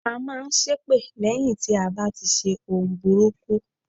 À n máa n ṣépè lẹ́yìn tí a bá ti ṣe ohun burúkú